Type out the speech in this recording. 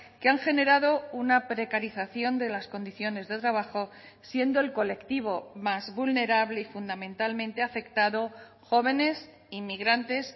que han generado una precarización de las condiciones de trabajo siendo el colectivo más vulnerable y fundamentalmente afectado jóvenes inmigrantes